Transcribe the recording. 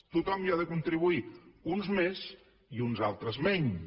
tothom hi ha de contribuir uns més i uns altres menys